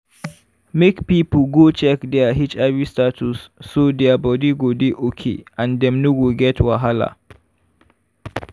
make people go check their hiv status so their body go dey okay and dem no go get wahala